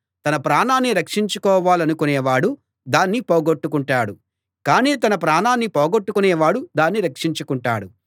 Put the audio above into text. తన ప్రాణాన్ని రక్షించుకోవాలనుకునేవాడు దాన్ని పోగొట్టుకుంటాడు కానీ తన ప్రాణాన్ని పోగొట్టుకునేవాడు దాన్ని రక్షించుకుంటాడు